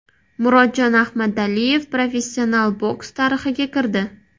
Murodjon Ahmadaliyev professional boks tarixiga kirdi.